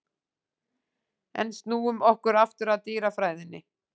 En snúum okkur aftur að dýrafræðinni.